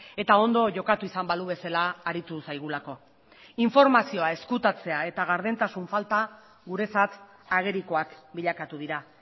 eta ondo jokatu izan balu bezala aritu zaigulako informazioa ezkutatzea eta gardentasun falta guretzat agerikoak bilakatu dira